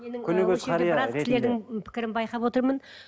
біраз кісілердің пікірін байқап отырмын